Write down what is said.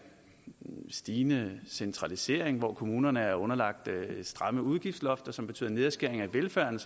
stigende centralisering hvor kommunerne er underlagt stramme udgiftslofter som betyder nedskæring af velfærden